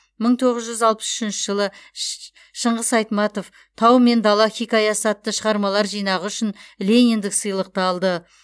мың тоғыз жүз алпыс үшінші жылы шш шыңғыс айтматов тау мен дала хикаясы атты шығармалар жинағы үшін лениндік сыйлықты алды